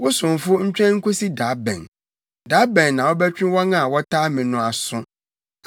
Wo somfo ntwɛn nkosi da bɛn? Da bɛn na wobɛtwe wɔn a wɔtaa me no aso?